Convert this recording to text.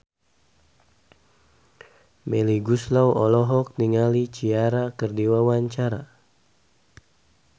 Melly Goeslaw olohok ningali Ciara keur diwawancara